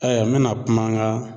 mena kuma an ka